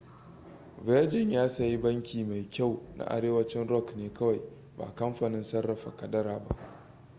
virgin ya sayi ' banki mai kyau' na arewacin rock ne kawai ba kamfanin sarrafa kadara ba